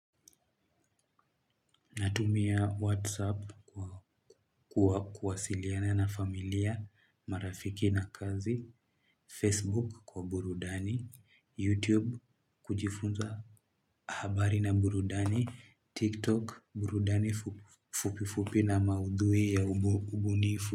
Natumia WhatsApp kwa kuwasiliana na familia, marafiki na kazi, Facebook kwa Burudani, YouTube kujifunza habari na Burudani, TikTok Burudani fupifupi na maudhui ya ubunifu.